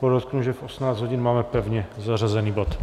Podotknu, že v 18 hodin máme pevně zařazený bod.